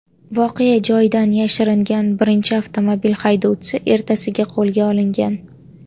Voqea joyidan yashiringan birinchi avtomobil haydovchisi ertasiga qo‘lga olingan.